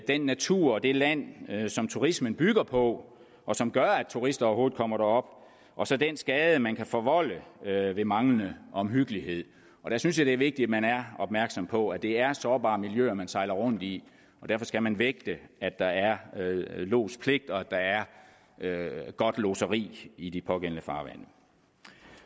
den natur og det land som turismen bygger på og som gør at turister overhovedet kommer derop og så den skade man kan forvolde ved manglende omhyggelighed og der synes jeg det er vigtigt at man er opmærksom på at det er sårbare miljøer man sejler rundt i og derfor skal man vægte at der er lodspligt og at der er godt lodseri i de pågældende farvande